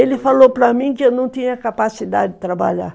Ele falou para mim que eu não tinha capacidade de trabalhar.